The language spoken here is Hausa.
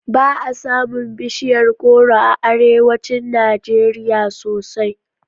Ba a samun bishiyar goro a arewacin Najeriya sosai